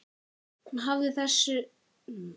Hann hafði þessa hlýju.